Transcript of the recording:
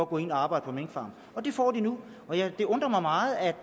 gå ind og arbejde på en minkfarm det får de nu og det undrer mig meget at